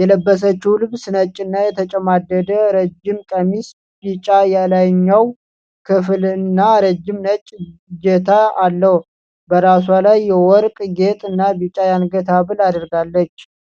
የለበሰችው ልብስ ነጭና የተጨማደደ ረጅም ቀሚስ፣ ቢጫ የላይኛው ክፍል እና ረጅም ነጭ እጀታ አለው። በራሷ ላይ የወርቅ ጌጥ እና ቢጫ የአንገት ሀብል አድርጋለች።